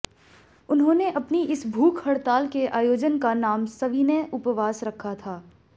उन्होंने अपनी इस भूख हड़ताल के आयोजन का नाम सविनय उपवास रखा था